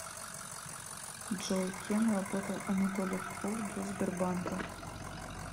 джой кем работал анатолий попов до сбербанка